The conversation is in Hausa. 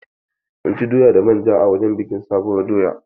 Mun ci doya da manja a wurin bikin sabuwar doya.